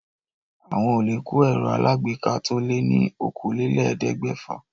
Àwọn olè kó ẹ̀rọ alágbèéká to lé ní okòólélẹ́ẹ̀ẹ́dẹ́gbẹ́fà.